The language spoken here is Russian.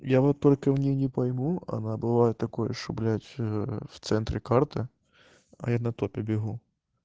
я вот только мне не пойму она бывает такое что блять ээ в центре карта а я на тот убегу